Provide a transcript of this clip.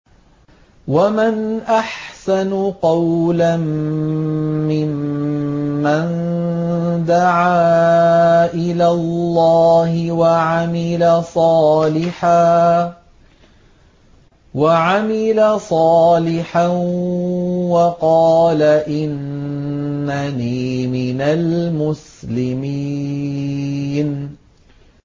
وَمَنْ أَحْسَنُ قَوْلًا مِّمَّن دَعَا إِلَى اللَّهِ وَعَمِلَ صَالِحًا وَقَالَ إِنَّنِي مِنَ الْمُسْلِمِينَ